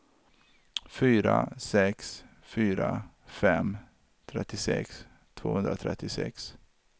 fyra sex fyra fem trettiosex tvåhundratrettiosex